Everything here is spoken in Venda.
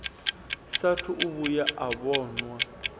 saathu u vhuya a vhonwa